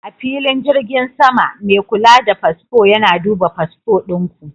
A filin jirgin sama, mai kula da fasfo yana duba fasfo ɗin ku.